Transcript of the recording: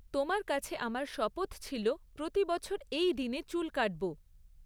তোমার কাছে আমার শপথ ছিল প্রতি বছর এই দিনে চুল কাটব।